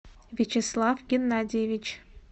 вячеслав геннадьевич